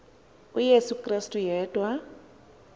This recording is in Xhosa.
uyesu krestu yedwa